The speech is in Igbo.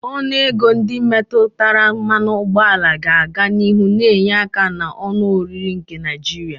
Ọnụ ego ndị metụtara mmanụ ụgbọala ga-aga n'ihu na-enye aka na onu oriri nke Naijiria.